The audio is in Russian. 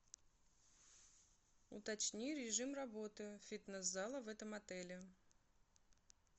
уточни режим работы фитнес зала в этом отеле